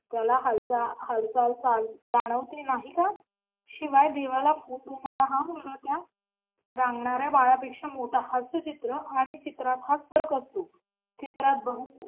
त्याला हालचाल जाणवते नाही का शिवाय देवाला हा मुलगा रांगणाऱ्या बाळा पेक्षा मोठा हास्यचित्र आणि चित्रात हाच फरक असतो. चित्रात